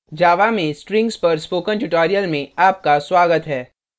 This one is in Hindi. java में strings पर spoken tutorial में आपका स्वागत है